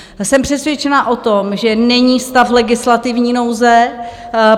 Jsem přesvědčena o tom, že není stav legislativní nouze.